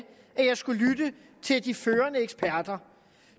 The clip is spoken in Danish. at jeg skal lytte til de førende eksperter